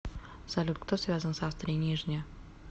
салют кто связан с австрия нижняя